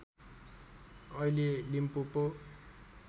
अहिले लिम्पोपो